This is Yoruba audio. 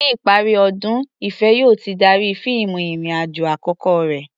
Ní ìparí ọdún, Ìfẹ̀ yóò ti darí fíìmù ìrìn-àjò àkọ́kọ́ rẹ̀.